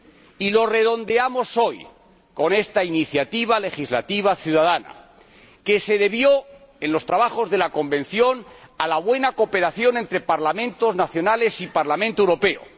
Y lo redondeamos hoy con esta iniciativa legislativa ciudadana, que se debió, en los trabajos de la Convención, a la buena cooperación entre los Parlamentos nacionales y el Parlamento Europeo.